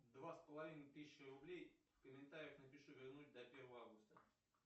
два с половиной тысяч рублей в комментарии напиши вернуть до первого августа